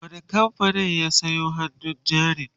a wani kamfanin ya saya hannun jarin?